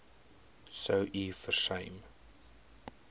sou u versuim